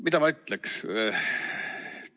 Mida ma ütleks?